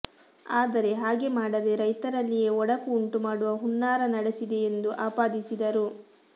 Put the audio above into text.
ಆದರೆ ಹಾಗೆ ಮಾಡದೇ ರೈತರಲ್ಲಿಯೇ ಒಡಕು ಉಂಟು ಮಾಡುವ ಹುನ್ನಾರ ನಡೆಸಿದೆ ಎಂದು ಆಪಾದಿಸಿದರು